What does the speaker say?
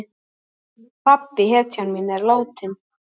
Pabbi, hetjan mín, er látinn.